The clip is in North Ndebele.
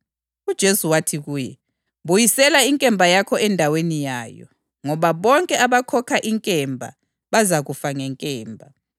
UJesu wathi kuye, “Buyisela inkemba yakho endaweni yayo, ngoba bonke abakhokha inkemba bazakufa ngenkemba.